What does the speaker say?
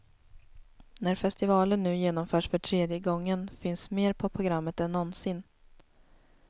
När festivalen nu genomförs för tredje gången finns mer på programmet än någonsin.